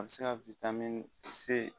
A bɛ se ka